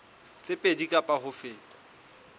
tse pedi kapa ho feta